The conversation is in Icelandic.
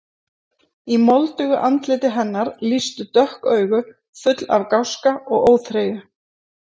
Í moldugu andliti hennar lýstu dökk augu, full af gáska og óþreyju.